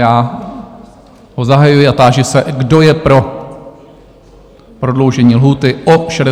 Já ho zahajuji a táži se, kdo je pro prodloužení lhůty o 60 dní?